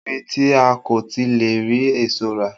Kò sí ibi tí a kò ti le rí èso rà